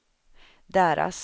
deras